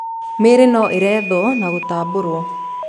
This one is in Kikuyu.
mĩrĩ no iretho na gũtambũro